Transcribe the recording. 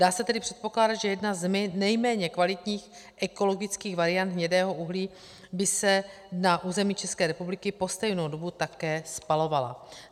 Dá se tedy předpokládat, že jedna z nejméně kvalitních ekologických variant hnědého uhlí by se na území České republiky po stejnou dobu také spalovala.